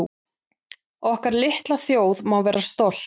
Okkar litla þjóð má vera stolt